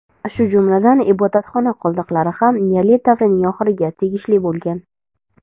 shu jumladan ibodatxona qoldiqlari ham neolit davrining oxiriga tegishli bo‘lgan.